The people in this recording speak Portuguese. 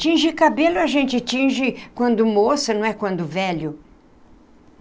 Tinge cabelo a gente tinge quando moça, não é quando velho.